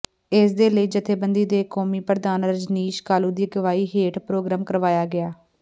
ਇਸ ਦੇ ਲਈ ਜਥੇਬੰਦੀ ਦੇ ਕੌਮੀ ਪ੍ਰਧਾਨ ਰਜਨੀਸ਼ ਕਾਲੂ ਦੀ ਅਗਵਾਈ ਹੇਠ ਪ੍ਰੋਗਰਾਮ ਕਰਵਾਇਆ ਗਿਆ